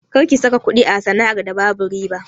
Kar kiyi saka kuɗi a sana'ar da babu riba!